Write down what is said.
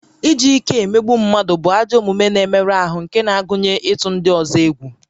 Iji ike emegbu mmadụ bụ ajọ omume na-emerụ ahụ nke na-agụnye ịtụ ndị ọzọ egwu